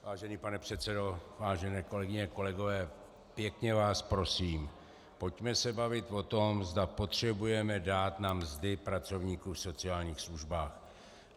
Vážený pane předsedo, vážené kolegyně, kolegové, pěkně vás prosím, pojďme se bavit o tom, zda potřebujeme dát na mzdy pracovníků v sociálních službách.